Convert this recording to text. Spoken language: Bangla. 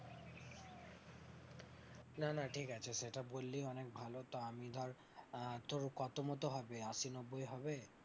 না না ঠিক আছে সেটা বললি অনেক ভালো, তো আমি ধর তোর কত মতো হবে আশি নব্বুই হবে?